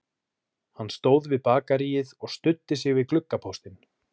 Hann stóð við bakaríið og studdi sig við gluggapóstinn